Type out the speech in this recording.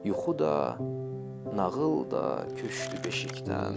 Yuxu da, nağıl da köçdü beşikdən.